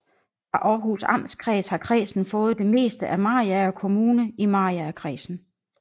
Fra Århus Amtskreds har kredsen fået det meste af Mariager Kommune i Mariagerkredsen